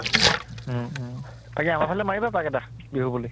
উম উম তাকে আমাৰ ফালে মাৰিবা পাক এটা, বিহু বুলি